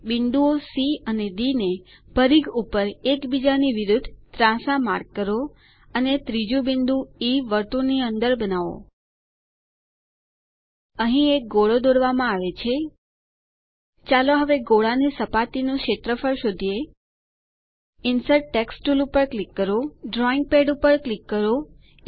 બિંદુઓ સી અને ડી ને પરિઘ ઉપર એક બીજાની વિરુદ્ધ ત્રાંસા માર્ક કરો અને ત્રીજુ બિંદુ ઇ વર્તુળની અંદર બનાઓ અહીં એક ગોળો દોરવામાં આવે છે ચાલો હવે ગોળા ની સપાટીનું ક્ષેત્રફળ શોધીએ ઇન્સર્ટ ટેક્સ્ટ ટૂલ પર ક્લિક કરો તે ડ્રોઈંગ પેડ પર ક્લિક કરો